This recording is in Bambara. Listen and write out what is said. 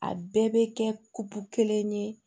A bɛɛ bɛ kɛ kelen ye